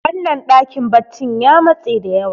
wannan dakin baccin ya matse da yawa